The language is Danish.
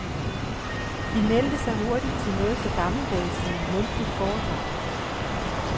De meldte sig til noget så gammeldags som et mundligt foredrag.